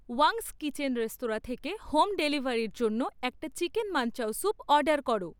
Wang's kitchen restaurant থেকে হোম ডেলিভারির জন্য একটা চিকেন মানচাও স্যুপ অর্ডার করো